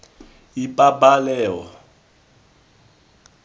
ipabaleo